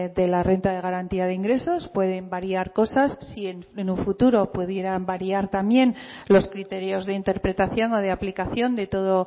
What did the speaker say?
de la renta de garantía de ingresos pueden variar cosas si en un futuro pudieran variar también los criterios de interpretación o de aplicación de todo